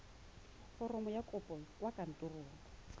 foromo ya kopo kwa kantorong